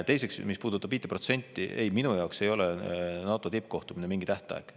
Teiseks, mis puudutab 5%: ei, minu jaoks ei ole NATO tippkohtumine mingi tähtaeg.